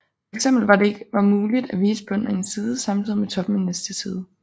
For eksempel var det ikke var muligt at vise bunden af en side samtidigt med toppen af næste side